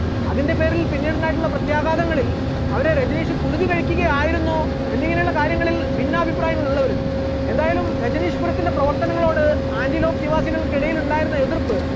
അതിന്റെപേരിൽ പിന്നീടുണ്ടായിട്ടുള്ള പ്രത്യാഘാതങ്ങളിൽ അവരെ രജനീഷ് കുരുതി കഴിക്കുകയായിരുന്നോ എന്നിങ്ങനെയുള്ള കാര്യങ്ങളിൽ ഭിന്നാഭിപ്രായം ഉള്ളവരും, എന്തായാലും രജനീഷ് പുരത്തിന്റെ പ്രവർത്തനങ്ങളോട് ആന്റിലോക്ക് നിവാസികൾക്കിടയിൽ ഉണ്ടായിരുന്ന എതിർപ്പ്